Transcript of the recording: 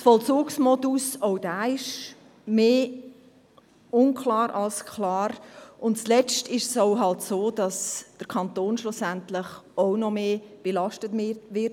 Auch der Vollzugsmodus ist mehr unklar als klar, und zuletzt ist es halt auch so, dass der Kanton mit einer solchen Variante schlussendlich auch noch mehr belastet wird.